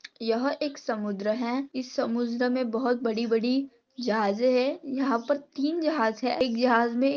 यह एक समुद्र है समुद्रमे बहुत बड़ी बड़ी जहाजे है यहा पर तीन जहाज है। एक जहाज मे--